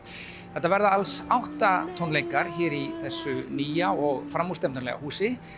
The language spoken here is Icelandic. þetta verða alls átta tónleikar hér í þessu nýja og framúrstefnulega húsi